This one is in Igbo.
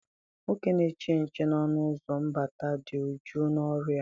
Nwoke na-eche nche n'ọnụ ụzọ mbata dị uju na ọrụ ya.